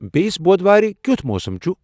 بییِس بود وارِ کِیُتھ موسم چُھ ؟